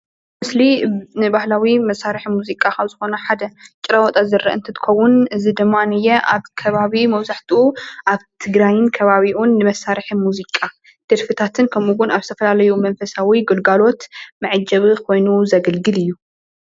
ምስሊ ንብህላዊ መሳርሒ ሙዚቃ ካብ ዝኾኑ ሓደ ጭራዋጣ ዝርአ እትትከውን እዚ ድማ ነየአ አብ ከባቢ መብዛሕትኡ ኣብ ትግራይን ከባቢኡን ንመሳርሒ ሙዚቃ ደርፍታትን ከምኡውን ኣብ ዝተፈላለዩ መንፈሳዊ ግልጋሎት መዐጀቢኾይኑ እውን ዘገልግል እዩ።